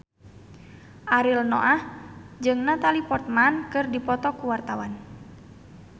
Ariel Noah jeung Natalie Portman keur dipoto ku wartawan